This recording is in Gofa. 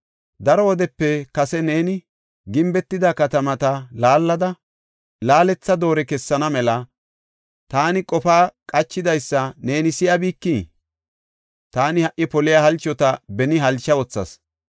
“Daro wodepe kase neeni gimbetida katamata laallada, laaletha doore kessana mela, taani qofa qachidaysa neeni si7abikii? Taani ha77i poliya halchota beni halcha wothas.